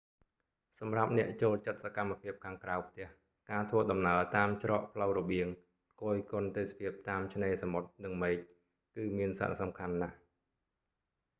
សម្រាប់អ្នកចូលចិត្តសកម្មភាពខាងក្រៅផ្ទះ ការធ្វើដំណើរតាមច្រកផ្លូវរបៀងគយគន់ទេសភាពតាមឆ្នេរសមុទ្រនិងមេឃ គឺមានសារៈសំខាន់ណាស់